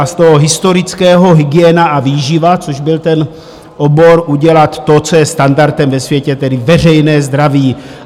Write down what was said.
A z toho historického hygiena a výživa, což byl ten obor, udělat to, co je standardem ve světě, tedy veřejné zdraví.